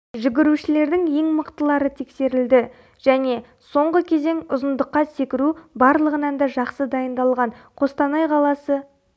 жүгірушілердің ең мықтылары тексерілді және соңғы кезең ұзындыққа секіру барлығынан да жақсы дайындалған қостанай қаласы